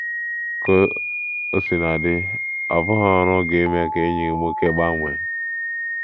Ka o sina dị, ọ bụghị ọrụ gị ime ka enyi gị nwoke gbanwee.